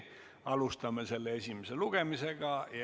Alustame selle esimest lugemist.